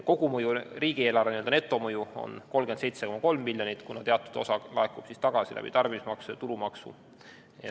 Kogumõju riigieelarvele, n-ö netomõju on 37,3 miljonit, kuna teatud osa laekub tagasi läbi tarbimismaksude ja tulumaksu.